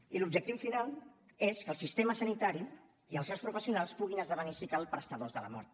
i l’objectiu final és que el sistema sanitari i els seus professionals puguin esdevenir si cal prestadors de la mort